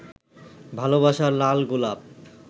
ভালবাসার লাল গোলাপ